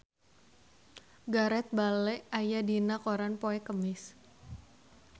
Gareth Bale aya dina koran poe Kemis